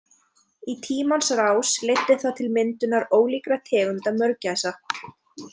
Í tímans rás leiddi það til myndunnar ólíkra tegunda mörgæsa.